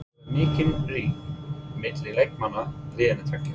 Telurðu vera mikinn ríg milli leikmanna liðanna tveggja?